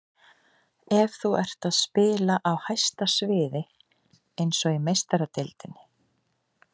Ef þú ert að spila á hæsta sviði, eins og í Meistaradeildinni.